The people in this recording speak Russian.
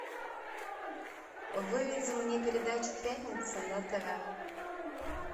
выведи мне передачу пятница на тв